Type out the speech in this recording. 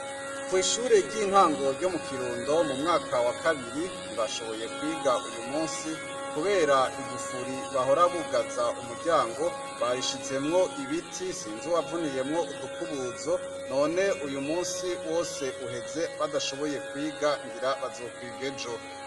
Kw'ishure ry'intango ryo mu Kirundo mu mwaka wa kabiri, ntibashoboye kwiga uyu musi, kubera igufuri bahora bugaza umuryango, bayishizemwo ibiti sinzi uwavuniyemwo udukubuzo, none uyu musi wose uheze badashoboye kwiga ngira bazokwiga ejo.